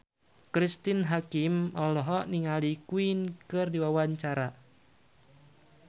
Cristine Hakim olohok ningali Queen keur diwawancara